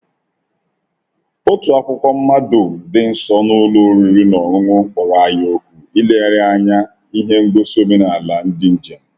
Otu akwụkwọ mmado dị nso n’ụlọ oriri na ọṅụṅụ kpọrọ anyị òkù ilegharị anya ihe ngosi omenala ndị njem.